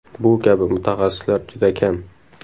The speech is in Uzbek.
Bu kabi mutaxassislar juda kam.